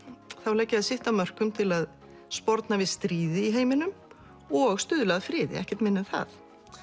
leggja þau sitt að mörkum til að sporna við stríði í heiminum og stuðla að friði ekkert minna en það